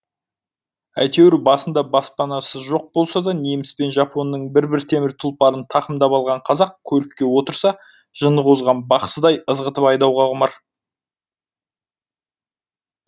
әйтеуір басында баспанасы жоқ болса да неміс пен жапонның бір бір темір тұлпарын тақымдап алған қазақ көлікке отырса жыны қозған бақсыдай ызғытып айдауға құмар